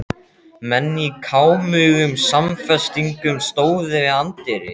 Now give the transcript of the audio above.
Menn í kámugum samfestingum stóðu við anddyri.